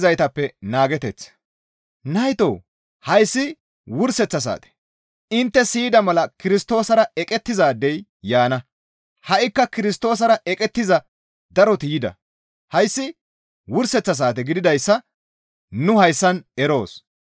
Naytoo! Hayssi wurseththa saate; intte siyida mala Kirstoosara eqettizaadey yaana; ha7ikka Kirstoosara eqettiza daroti yida. Hayssi wurseththa saate gididayssa nu hayssan eroos.